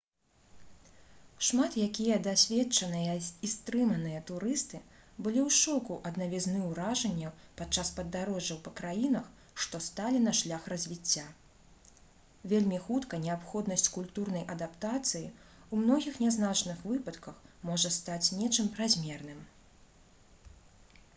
шмат якія дасведчаныя і стрыманыя турысты былі ў шоку ад навізны ўражанняў падчас падарожжаў па краінах што сталі на шлях развіцця вельмі хутка неабходнасць культурнай адаптацыі ў многіх нязначных выпадках можа стаць нечым празмерным